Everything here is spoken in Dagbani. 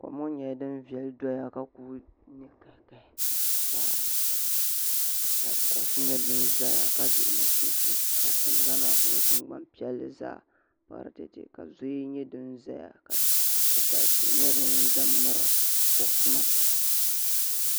Kom ŋɔ nyɛla din veli doya vka ku ne kahi kahi. ka kuɣisi nyɛ din ʒaya ka ku dihi nachiinsi ka tiŋ gbani maa kuli nyɛ tiŋ gban piɛli zaa para tee ka zoya nyɛ din ʒaya ka kpukpali tihi nyɛ din ʒan mi ri kuɣisi maa.